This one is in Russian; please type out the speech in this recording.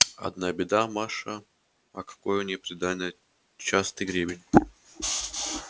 одна беда маша а какое у неё приданое частый гребень